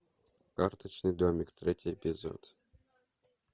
карточный домик третий эпизод